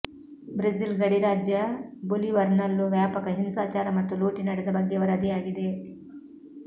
Brazil ಗಡಿ ರಾಜ್ಯ ಬೊಲಿವರ್ನಲ್ಲೂ ವ್ಯಾಪಕ ಹಿಂಸಾಚಾರ ಮತ್ತು ಲೂಟಿ ನಡೆದ ಬಗ್ಗೆ ವರದಿಯಾಗಿದೆ